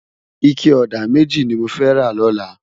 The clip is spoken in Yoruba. Iké òdá mèjí ni mó fè rá lòlá